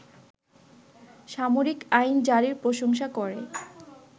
সামরিক আইন জারির প্রশংসা করে